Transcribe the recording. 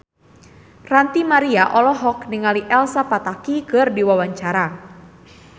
Ranty Maria olohok ningali Elsa Pataky keur diwawancara